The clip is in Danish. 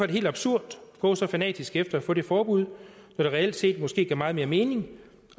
det helt absurd at gå så fanatisk efter at få det forbud når det reelt set måske giver meget mere mening